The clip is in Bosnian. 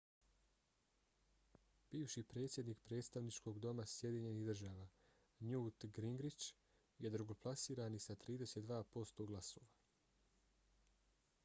bivši predsjednik predstavničkog doma sjedinjenih država newt gingrich je drugoplasirani sa 32 posto glasova